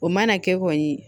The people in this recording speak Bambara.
O mana kɛ kɔni